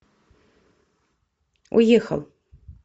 уехал